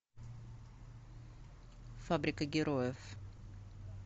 фабрика героев